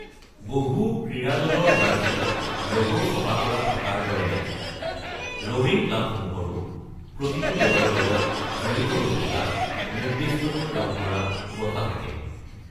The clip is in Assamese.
বহু ক্ৰীড়া দলৰ জাৰ্চিত ল’গ’ ছপা কৰা থকাৰ দৰে ৰ'ৱিং ক্লাবসমূহৰো প্ৰতিটো দলৰ লগত জড়িত হৈ থকা নিৰ্দিষ্টকৈ ৰং কৰা বঠা থাকে।